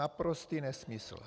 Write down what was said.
Naprostý nesmysl.